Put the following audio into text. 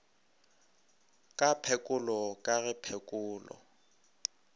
ka phekolo ka ge phekolo